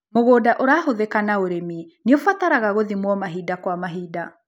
Mũgũnda ũrahũthika na ũrĩmi nĩũbataraga gũthimwo mahinda kwa mahinda.